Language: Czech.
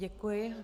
Děkuji.